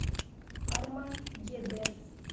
армагеддец